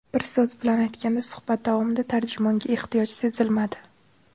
Bir so‘z bilan aytganda, suhbat davomida tarjimonga ehtiyoj sezilmadi.